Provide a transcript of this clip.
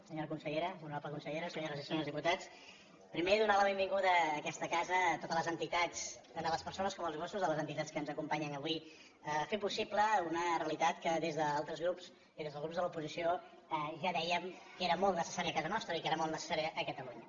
senyora consellera honorable consellera senyores i senyors diputats primer donar la benvinguda a aquesta casa tant a les persones com els gossos de les entitats que ens acompanyen avui per fer possible una realitat que des d’altres grups i des dels grups de l’oposició ja dèiem que era molt necessària a casa nostra i que era molt necessària a catalunya